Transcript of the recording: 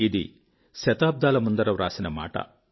ఇది శతాబ్దాల ముందర వ్రాసిన మాట